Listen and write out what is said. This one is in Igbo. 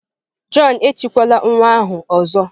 John etikwala nwa ahụ ọzọ!